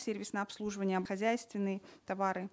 сервисное обслуживание хозяйственные товары